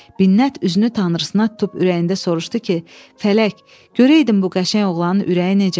Minnət üzünü tanrısına tutub ürəyində soruşdu ki, fələk, görəydin bu qəşəng oğlanın ürəyi necədir?